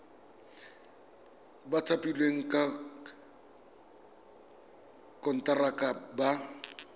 ba thapilweng ka konteraka ba